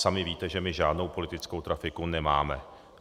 Sami víte, že my žádnou politickou trafiku nemáme.